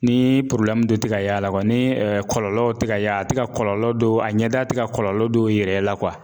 Ni porobilɛmu dɔ te ka ye a la kuwa ni kɔlɔlɔw te ka ye a a te ka kɔlɔlɔ dɔw a ɲɛda te ka kɔlɔlɔ dow yira i la kuwa